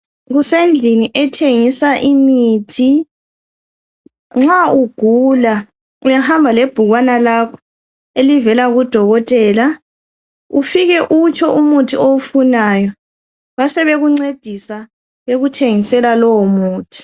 Kusendlini ethengisa imithi .Nxa ugula uyahamba lebhukwana lakho elivela kudokothela , ufike utsho umuthi owufunayo. Basebekuncedisa bekuthengisela lowo muthi.